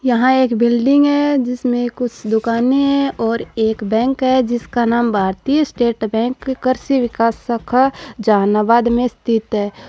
यहाँ एक बिल्डिंग हैं जिसमे कुछ दुकानें हैं और एक बैंक है जिसका नाम भारतीय स्टेट बैंक कृषि विकास शाखा जहानाबाद में स्थित है।